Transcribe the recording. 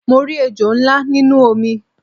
Mo rí ejò ńlá nínú omi